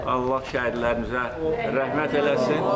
Allah şəhidlərimizə rəhmət eləsin.